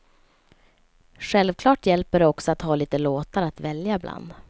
Självklart hjälper det också att ha lite låtar att välja bland.